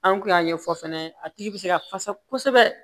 An kun y'a ɲɛfɔ fɛnɛ a tigi be se ka fasa kosɛbɛ